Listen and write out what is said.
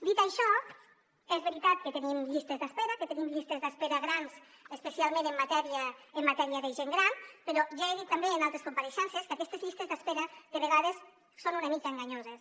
dit això és veritat que tenim llistes d’espera que tenim llistes d’espera grans especialment en matèria de gent gran però ja he dit també en altres compareixences que aquestes llistes d’espera de vegades són una mica enganyoses